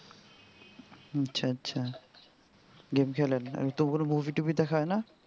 আচ্ছা আচ্ছা game খেলেন আর তো কোন movie টুভি দেখা হয় না?